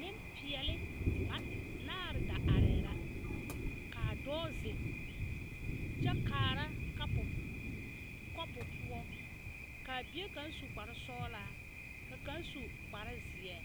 Nenpeɛli ba naare da are la kaa dɔɔ zeŋ kyɛ kaara kanpo konpo poɔ kaa bie kaŋ su kpare sɔglaa ka kaŋa su kpare ziɛ